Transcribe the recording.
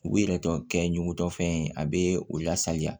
U bi yɛrɛ tɔ kɛ ɲugutɔfɛn ye a be o la saliya